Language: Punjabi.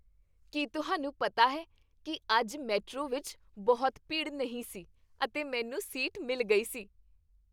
ਕੀ ਤੁਹਾਨੂੰ ਪਤਾ ਹੈ ਕੀ ਅੱਜ ਮੈਟਰੋ ਵਿੱਚ ਬਹੁਤੀ ਭੀੜ ਨਹੀਂ ਸੀ ਅਤੇ ਮੈਨੂੰ ਸੀਟ ਮਿਲ ਗਈ ਸੀ?